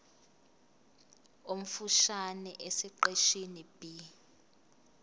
omfushane esiqeshini b